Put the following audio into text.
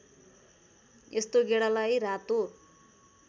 यस्तो गेडालाई रातो